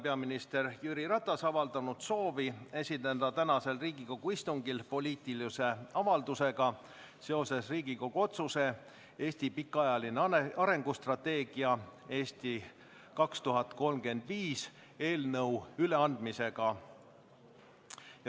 Peaminister Jüri Ratas on avaldanud soovi esineda tänasel Riigikogu istungil poliitilise avaldusega seoses Riigikogu otsuse "Riigi pikaajalise arengustrateegia "Eesti 2035" heakskiitmine" eelnõu üleandmisega.